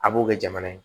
A b'o kɛ jamana ye